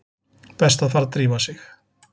Best að fara að drífa sig.